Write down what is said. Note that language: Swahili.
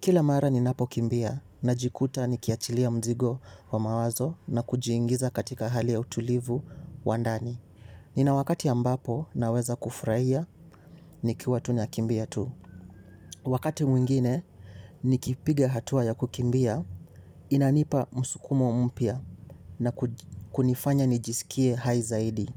Kila mara ni napokimbia na jikuta ni kiachilia mzigo wa mawazo na kujiingiza katika hali ya utulivu wandani. Ninawakati ambapo naweza kufurahia nikiwa tu nakimbia tu. Wakati mwingine ni kipiga hatua ya kukimbia inanipa musukumo mpia na kunifanya nijisikie haizaidi.